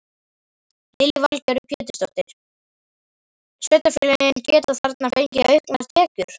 Lillý Valgerður Pétursdóttir: Sveitarfélögin geta þarna fengið auknar tekjur?